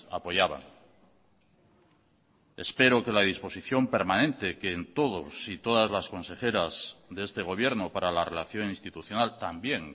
apoyaban espero que la disposición permanente que en todos y todas las consejeras de este gobierno para la relación institucional también